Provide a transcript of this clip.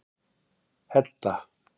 Hedda